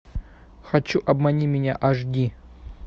хочу обмани меня аш ди